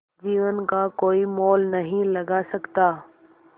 जीवन का कोई मोल नहीं लगा सकता